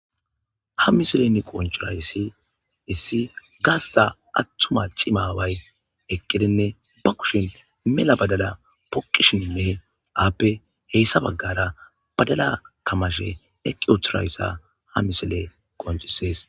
Ha misilen qoncurayssi issi gaasta attuma cimaway eqqidinne ba kushin mela badada poqishinne aappe heyssa baggara badala kamashe eqqi othirayssa ha misile qoncisees.